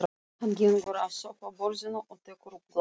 Hann gengur að sófaborðinu og tekur upp glas.